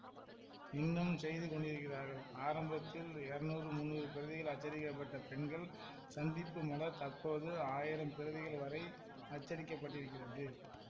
இன்னும் செய்து கொண்டிருக்கிறார்கள் ஆரம்பத்தில் இரநூறு முன்னூறு பிரதிகள் அச்சடிக்கப்பட்ட பெண்கள் சந்திப்பு மலர் தற்போது ஆயிரம் பிரதிகள் வரை அச்சடிக்கப் படுகின்றது